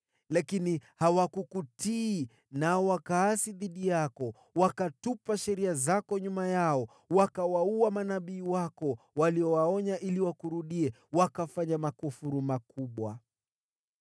“Lakini hawakukutii nao wakaasi dhidi yako, wakatupa sheria zako nyuma yao. Wakawaua manabii wako, waliowaonya ili wakurudie, na wakafanya makufuru makubwa.